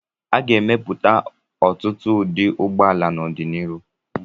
A ga-emepụta ọtụtụ ụdị ụgbọala n'ọdịnihu.